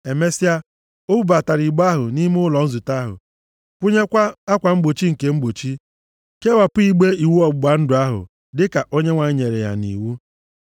Emesịa, o bubatara igbe ahụ nʼime ụlọ nzute ahụ, kwụnyekwa akwa mgbochi nke mgbochi, kewapụ igbe iwu ọgbụgba ndụ ahụ, dịka Onyenwe anyị nyere ya nʼiwu.